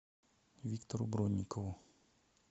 виктору бронникову